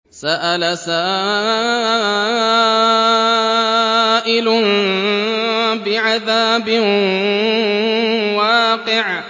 سَأَلَ سَائِلٌ بِعَذَابٍ وَاقِعٍ